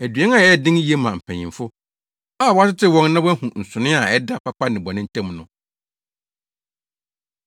Aduan a ɛyɛ den ye ma mpanyimfo a wɔatetew wɔn na wɔahu nsonoe a ɛda papa ne bɔne ntam no.